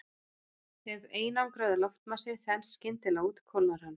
Ef einangraður loftmassi þenst skyndilega út kólnar hann.